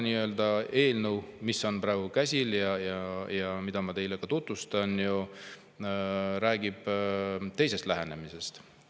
Eelnõu, mis on praegu käsil ja mida ma teile tutvustan, räägib teisest lähenemisest.